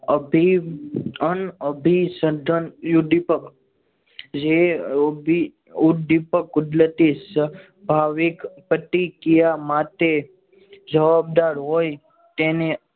અભિનંદન અભિનંદન ઉદ્દીપક જે અભી ઉદ્દીપક કુદરતી સદભાવિક પ્રતિક્રિયા માટે જવાબદાર હોય તેને